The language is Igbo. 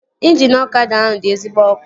Ịnjini ọkada ahụ dị ezigbo ọkụ